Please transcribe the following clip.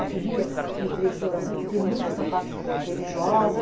Eu queria um trecho de oração porque tem muito essa parte religiosa.